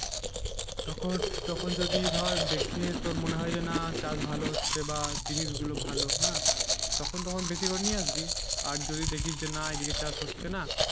তখন তখন যদি ধর দেখে তোর মনে হয় যে না চাষ ভালো হচ্ছে বা জিনিস গুলো ভালো হ্যাঁ তখন, তখন বেশি করে নিয়ে আসবি আর যদি দেখিস যে না এদিকে চাষ হচ্ছে না